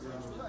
Şölə.